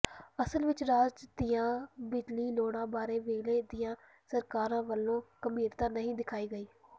ਅਸਲ ਵਿੱਚ ਰਾਜ ਦੀਆਂ ਬਿਜਲੀ ਲੋੜਾਂ ਬਾਰੇ ਵੇਲੇ ਦੀਆਂ ਸਰਕਾਰਾਂ ਵੱਲੋਂ ਗੰਭੀਰਤਾ ਨਹੀਂ ਦਿਖਾਈ ਗਈ